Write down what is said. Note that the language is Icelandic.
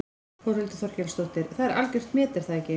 Þórhildur Þorkelsdóttir: Það er algjört met er það ekki?